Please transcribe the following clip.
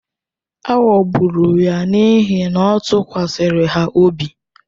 A ghọgburu ya n’ihi na ọ tụkwasịrị ha obi?